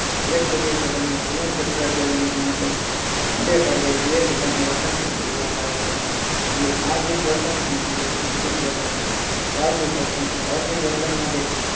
દરેક સજીવ પોતાના જીવન ચક્ર દરમિયાન માટે મોટા ભાગે બે પ્રકારના વર્તન કરતું જોવા મળે છે પહેલું સાહજિક વર્તન અને બીજું શિક્ષિત વર્તન સાહજિક વર્તન સાહજિક વર્તન માટે